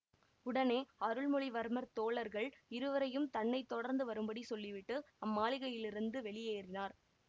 உடனே அருள்மொழிவர்மர் தோழர்கள் இருவரையும் தன்னை தொடர்ந்து வரும்படி சொல்லிவிட்டு அம்மாளிகையிலிருந்து வெளியேறினார்